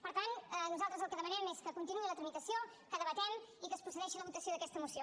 per tant nosaltres el que demanem és que continuï la tramitació que debatem i que es procedeixi a la votació d’aquesta moció